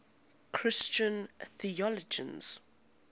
christian theologians